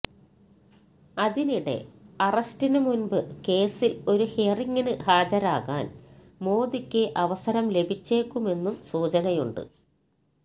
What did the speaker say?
അതിനിടെ അറസ്റ്റിന് മുന്പ് കേസില് ഒരു ഹിയറിങ്ങിന് ഹാജരാകാന് മോദിക്ക് അവസരം ലഭിച്ചേക്കുമെന്നും സൂചനയുണ്ട്